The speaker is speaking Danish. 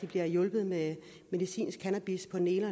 bliver hjulpet med medicinsk cannabis på den ene